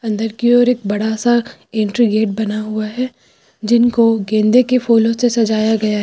अंदर की ओर एक बड़ा सा एंट्री गेट बना हुआ है जिनको गेंदे के फूलों से सजाया गया है।